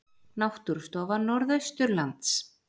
Náttúrustofa Norðausturlands